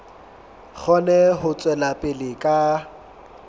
kgone ho tswela pele ka